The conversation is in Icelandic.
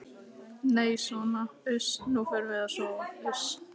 Nei sona uss, nú förum við að sofa suss.